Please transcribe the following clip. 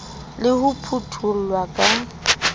le ho phutho llwa ka